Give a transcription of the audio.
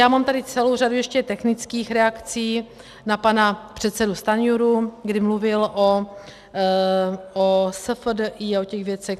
Já mám tady celou řadu ještě technických reakcí na pana předsedu Stanjuru, kdy mluvil o SFDI a o těch věcech.